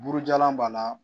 Burujalan b'a la